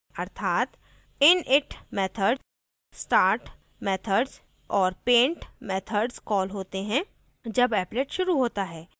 अर्थात init method start methods और paint methods call होते हैं जब applet शुरू होता है